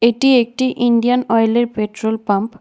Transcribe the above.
এটি একটি ইন্ডিয়ান অয়েলের পেট্রোল পাম্প ।